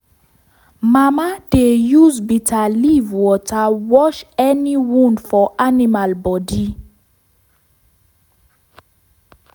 mama dey use bitterleaf water wash any wound for animal body.